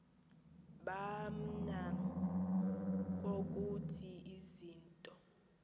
baman ukuthi izinto